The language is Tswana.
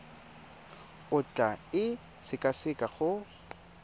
o tla e sekaseka go